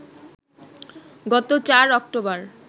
গত ৪ অক্টোবর